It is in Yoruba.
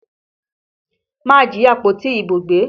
Má jí àpótí ìbò gbé!